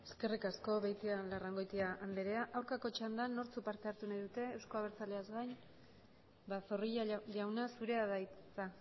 eskerrik asko beitialarrangoitia andrea aurkako txandan nortzuk parte hartu nahi dute euzko abertzaleaz gain zorrilla jauna zurea da hitza